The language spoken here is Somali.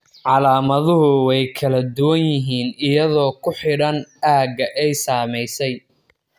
Calaamaduhu way kala duwan yihiin iyadoo ku xidhan aagga ay saamaysay.